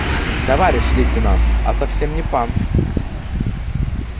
товарищ лейтенант а совсем не пан